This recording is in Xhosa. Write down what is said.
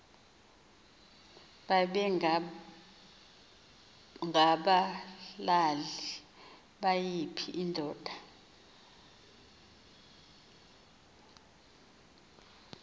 babengabulali nayiphi indoda